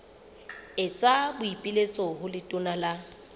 etsa boipiletso ho letona la